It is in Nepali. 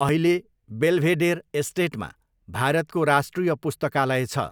अहिले, बेल्भेडेर एस्टेटमा भारतको राष्ट्रिय पुस्तकालय छ।